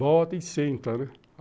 Volta e senta, né?